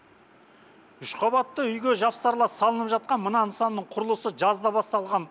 үш қабатты үйге жапсарлас салынып жатқан мына нысанның құрылысы жазда басталған